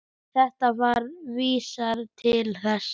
Þetta verk vísar til þess.